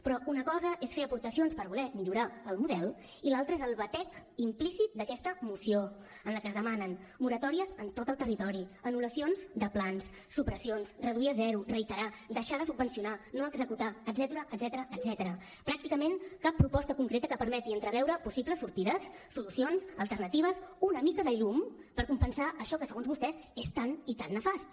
però una cosa és fer aportacions per voler millorar el model i l’altra és el batec implícit d’aquesta moció en la que es demanen moratòries en tot el territori anul·lacions de plans supressions reduir a zero reiterar deixar de subvencionar no executar etcètera etcètera pràcticament cap proposta concreta que permeti entreveure possibles sortides solucions alternatives una mica de llum per compensar això que segons vostès és tan i tan nefast